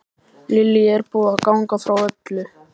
Lillý, er búið að ganga frá öllu?